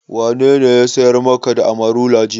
Wanene ya siyar maka da Amarula jiya?